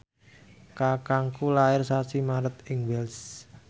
kakangku lair sasi Maret ing Wells